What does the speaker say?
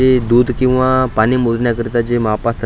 हे दूध किंवा पाणी मोजण्या करता जे मापद--